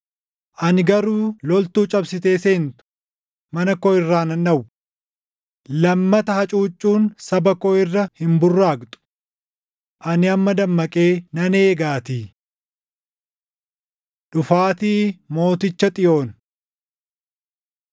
Ani garuu loltuu cabsitee seentu mana koo irraa nan dhowwa. Lammata hacuuccuun saba koo irra hin burraaqxu; ani amma dammaqee nan eegaatii. Dhufaatii Mooticha Xiyoon